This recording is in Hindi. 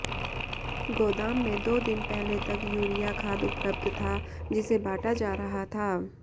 गोदाम में दो दिन पहले तक यूरिया खाद उपलब्ध था जिसे बांटा जा रहा था